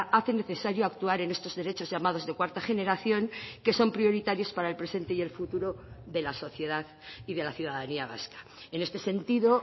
hace necesario actuar en estos derechos llamados de cuarta generación que son prioritarios para el presente y el futuro de la sociedad y de la ciudadanía vasca en este sentido